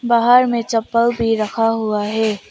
बाहर में चप्पल भी रखा हुआ है।